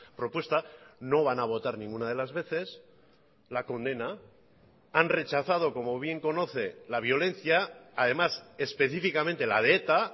propuesta no van a votar ninguna de las veces la condena han rechazado como bien conoce la violencia además específicamente la de eta